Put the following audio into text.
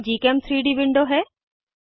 यह gchem3डी विंडो है